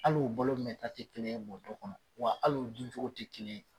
Al'o balo mɛn ta te kelen ye bɔton kɔnɔ wa al'u dun cogo tɛ kelen ye